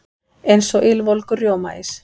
Eins og ylvolgur rjómaís.